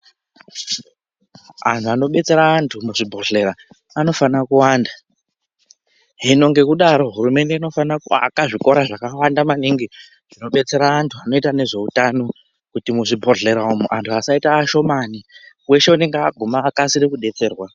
Antu anobetsera antu muzvibhedhlera anofanire kuwanda hino ngekudaro hurumende inofanira kuaka zvikora zvakawanda maningi zvinodetsera antu zvinoita ngezveutano kuti muzvibhedhlera umwo antu asaite ashomani, weshe anenge aguma akasire kudetserwa.